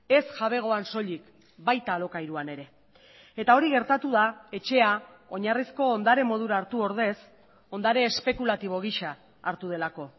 ez jabegoan soilik baita alokairuan ere eta hori gertatu da etxea oinarrizko ondare modura hartu ordez ondare espekulatibo gisa hartu delako